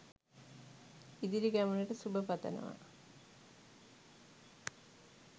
ඉදිරි ගමනට සුබ පතනවා